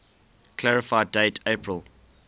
clarify date april